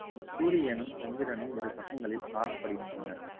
சூரியனும், சந்திரனும் இரு பக்கங்களில் காணப்படுகின்றனர்